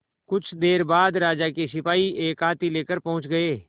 कुछ देर बाद राजा के सिपाही एक हाथी लेकर पहुंच गए